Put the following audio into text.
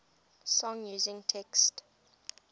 song using text